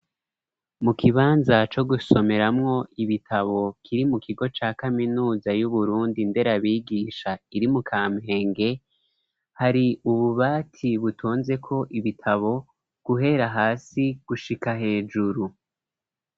Mu kibanza co gusomeramwo ibitabo kiri mu kigo ca kaminuza y'Uburundi nderabigisha iri mu Kampenge, hari ububati butonzeko ibitabo guhera hasi gushika hejuru.